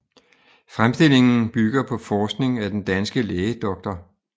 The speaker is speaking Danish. Fremstillingen bygger på forskning af den danske læge dr